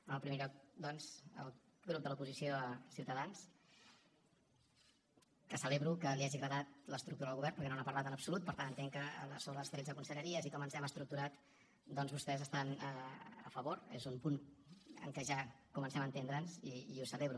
en primer lloc doncs al grup de l’oposició ciutadans que celebro que li hagi agradat l’estructura del govern perquè no n’ha parlat en absolut per tant entenc que sobre les tretze conselleries i com ens hem estructurat doncs vostès hi estan a favor és un punt en què ja comencem a entendre’ns i ho celebro